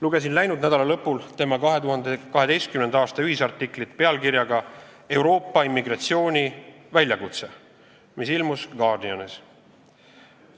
Lugesin läinud nädala lõpul tema 2012. aasta ühisartiklit pealkirjaga "Euroopa immigratsiooni väljakutse", mis ilmus The Guardianis.